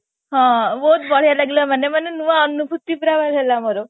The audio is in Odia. ହଁ ବହୁତ ବଢିଆ ଲାଗିଲା ମାନେ ମାନେ ନୂଆ ଅନୁଭୂତି ପୁରା ମିଳିଲା ମୋର